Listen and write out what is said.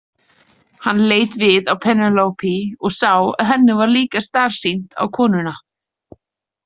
Hann leit við á Penélope og sá að henni var líka starsýnt á konuna.